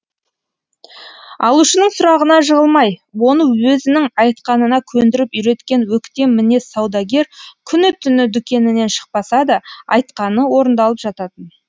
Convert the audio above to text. алушының сұрағанына жығылмай оны өзінің айтқанына көндіріп үйреткен өктем мінез саудагер күні түні дүкенінен шықпаса да айтқаны орындалып жататын